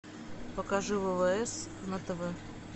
покажи ввс на тв